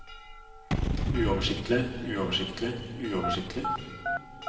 uoversiktlig uoversiktlig uoversiktlig